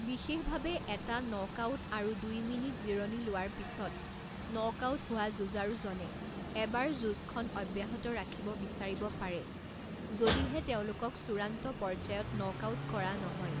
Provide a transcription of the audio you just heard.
বিশেষভাৱে, এটা নকআউট আৰু দুই মিনিট জিৰণি লোৱাৰ পিছত নকআউট হোৱা যুঁজাৰুজনে এবাৰ যুঁজখন অব্যাহত ৰাখিব বিছাৰিব পাৰে, যদিহে তেওঁলোকক চূড়ান্ত পৰ্য্যায়ত নকআউট কৰা নহয়।